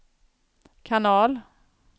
kanal